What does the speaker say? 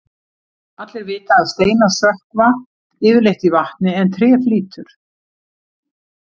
Allir vita að steinar sökkva yfirleitt í vatni en tré flýtur.